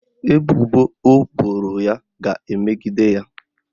Ebubo o boro ya ga-emegide ya.